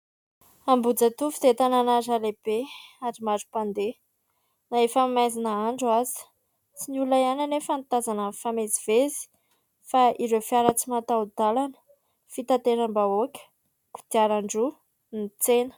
Ambihijatovo dia tanàna iray lehibe ary maro mpandeha na efa maizin'andro aza, tsy ny olona ihany anefa no tazana mifamezivezy fa ireo fiara tsy mataho-dàlana, fitateram-bahoaka, kodiaran-droa, ny tsena.